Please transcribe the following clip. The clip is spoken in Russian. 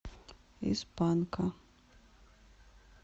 из панка